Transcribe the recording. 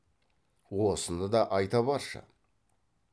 осыны да айта баршы